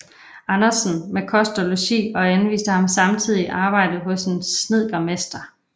Andersen med kost og logi og anviste ham samtidig arbejde hos en snedkermester